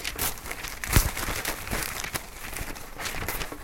притяжение